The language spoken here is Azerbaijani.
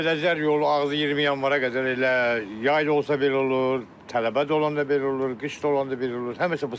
Pirəşkülər yolu ağzı 20 Yanvara qədər elə yayda olsa belə olur, tələbə də olanda belə olur, qış da olanda belə olur, həmişə bu sıxlıq yaranır.